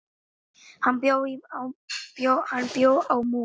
Hann bjó á Mói.